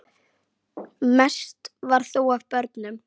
Mest var þó af börnum.